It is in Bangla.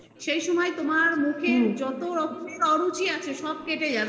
সেই সময় তোমার মুখে যত রকমের অরুচি আছে সব কেটে যাবে এবং সেই